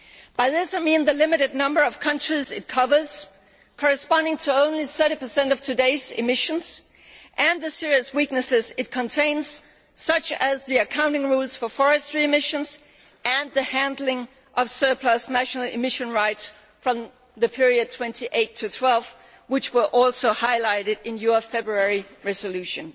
By this I mean the limited number of countries it covers corresponding to only 30 of today's emissions and the serious weaknesses it contains such as the accounting rules for forestry emissions and the handling of surplus national emission rights from the period 2008 to 2012, which were also highlighted in your February resolution.